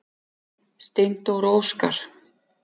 Steindór og Óskar.